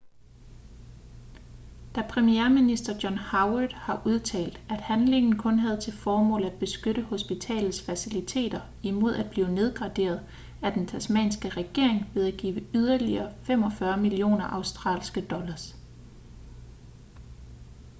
men premierminister john howard har udtalt at handlingen kun havde til formål at beskytte hospitalets faciliteter imod at blive nedgraderet af den tasmanske regering ved at give yderligere 45 millioner aud$